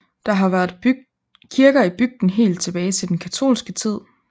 Der har været kirker i bygden helt tilbage til den katolske tid